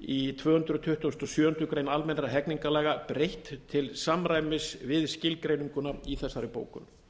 í tvö hundruð tuttugustu og sjöundu grein almennra hegningarlaga breytt til samræmis við skilgreininguna í þessari bókun